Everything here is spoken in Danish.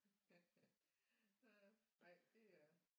Ej det er